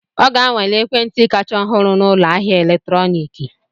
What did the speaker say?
Ọ ga-anwale ekwentị kacha ọhụrụ na ụlọ ahịa eletrọnịkị.